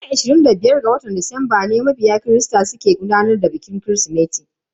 Ranar ashirin da biyar ga watan Disamba ne mabiya christa ke gudanar da bikin kirismeti.